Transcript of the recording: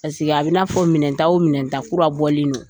Paseke a bɛ i n'a fɔ minɛnta o minɛnta kura bɔlen do.